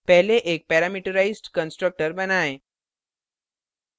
पहले एक parameterized constructor parameterized constructor बनाएँ